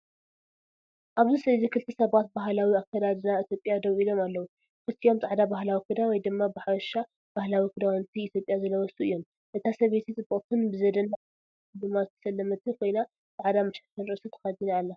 ኣብዚ ስእሊ ክልተ ሰባት ብባህላዊ ኣከዳድና ኢትዮጵያ ደው ኢሎም ኣለዉ። ክልቲኦም ጻዕዳ ባህላዊ ክዳን፡ ወይ ድማ ብሓፈሻ ባህላዊ ክዳውንቲ ኢትዮጵያ ዝለበሱ እዮም። እታ ሰበይቲ ጽብቕትን ብዘደንቕ ወርቃዊ ስልማት ዝተሰለመትን ኮይና፡ ጻዕዳ መሸፈኒ ርእሲ ተኸዲና ኣላ።